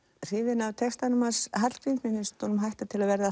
hrifin af textum Hallgríms mér finnst honum hætta til að verða